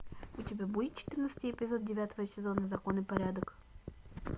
у тебя будет четырнадцатый эпизод девятого сезона закон и порядок